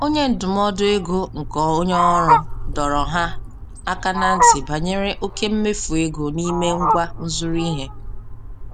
Onye ndụmọdụ ego nke onye ọrụ dọrọ ha aka ná ntị banyere oke mmefu ego n'ime ngwa nzụrụ ihe.